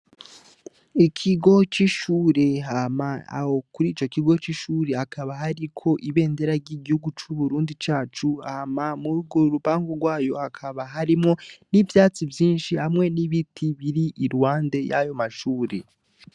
Ikigo c'ishure hama aho kurico kigo c'ishure hakaba hariko ibendera ry'igihugu c'UBURUNDI cacu, hama murugwo rupangu gwayo hakaba harimwo n'ivyatsi vyinshi hamwe n'ibiti biri iruhande yayo mashure.